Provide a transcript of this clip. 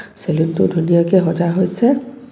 Salon টো ধুনীয়াকৈ সজা হৈছে.